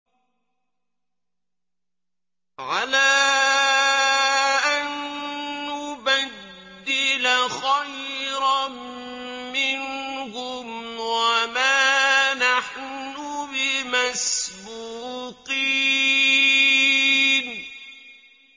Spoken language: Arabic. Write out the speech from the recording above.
عَلَىٰ أَن نُّبَدِّلَ خَيْرًا مِّنْهُمْ وَمَا نَحْنُ بِمَسْبُوقِينَ